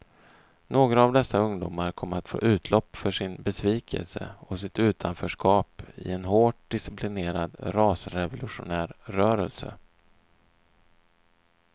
Några av dessa ungdomar kom att få utlopp för sin besvikelse och sitt utanförskap i en hårt disciplinerad rasrevolutionär rörelse.